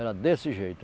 Era desse jeito.